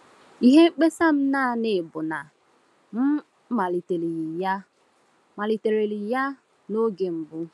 Ihe mkpesa m naanị bụ na m malitereghị ya malitereghị ya n’oge mbụ.”